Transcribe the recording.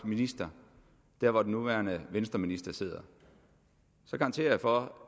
minister der hvor den nuværende venstreminister sidder så garanterer jeg for